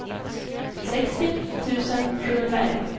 sextio tusen sjuhundraelva